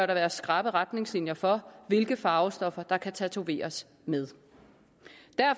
der være skrappe retningslinjer for hvilke farvestoffer der kan tatoveres med